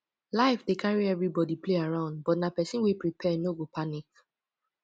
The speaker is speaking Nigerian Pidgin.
life dey carry everybody play around but na pesin wey prepare no go panic